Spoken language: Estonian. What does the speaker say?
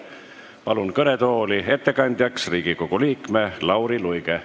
Palun kõnetooli ettekandjaks Riigikogu liikme Lauri Luige.